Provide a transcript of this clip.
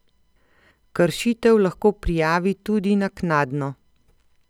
Kršitev lahko prijavi tudi naknadno.